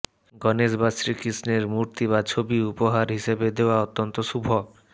গণেশ বা শ্রীকৃষ্ণের মূর্তি বা ছবি উপহার হিসেবে দেওয়া অত্যন্ত শুভ